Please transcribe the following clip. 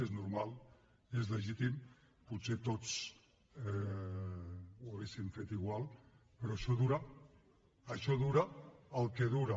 és normal és legítim potser tots ho hauríem fet igual però això dura el que dura